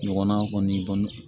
Ɲɔgɔnna kɔni